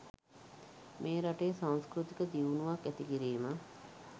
මෙ රටේ සංස්කෘතික දියුණුවක් ඇති කිරීම